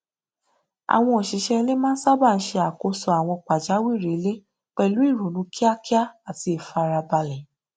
àwọn òṣìṣẹ ilé máa n sábà ṣe àkóso àwọn pàjáwìrì ilé pẹlú ìrònú kíákíá àti ìfarabalẹ